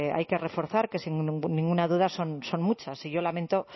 hay que reforzar que sin ninguna duda son muchas y yo lamento